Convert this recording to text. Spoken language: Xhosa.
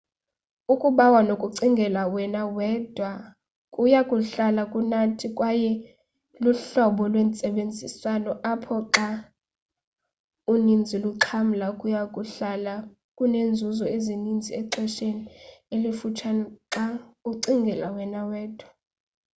ukubawa nokucingela wena wedwa kuya kuhlala kunathi kwaye luhlobo lwentsebenziswano apho xa uninzi luxhamla kuya kuhlala kunenzuzo eninzi exhesheni elifutshane xa ucingela wena wedwa